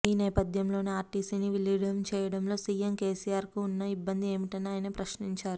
ఈనేపథ్యంలోనే ఆర్టీసీని విలీనం చేయడంలో సీఎం కేసీఆర్కు ఉన్న ఇబ్బంది ఏమిటని ఆయన ప్రశ్నించారు